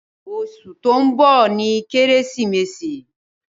́́Óṣù to ńbo ni Keresimesi